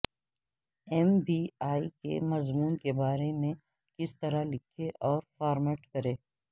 M B A کے مضمون کے بارے میں کس طرح لکھیں اور فارمیٹ کریں